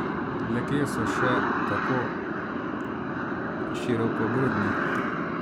Le kje so še tako širokogrudni?